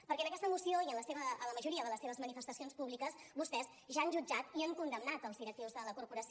perquè en aquesta moció i en la majoria de les seves manifestacions públiques vostès ja han jutjat i han condemnat els directius de la corporació